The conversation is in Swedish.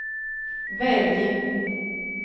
välj